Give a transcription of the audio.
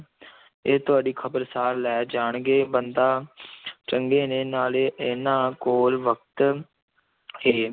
ਇਹ ਤੁਹਾਡੀ ਖ਼ਬਰ ਸਾਰ ਲੈ ਜਾਣਗੇ, ਬੰਦਾ ਚੰਗੇ ਨੇ, ਨਾਲੇ ਇਹਨਾਂ ਕੋਲ ਵਕਤ ਹੈ